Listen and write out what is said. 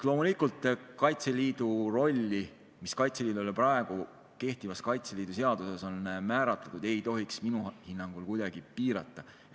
Loomulikult seda rolli, mis Kaitseliidule praegu kehtivas Kaitseliidu seaduses on määratud, ei tohiks minu hinnangul kuidagi piirata.